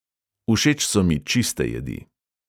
Všeč so mi čiste jedi.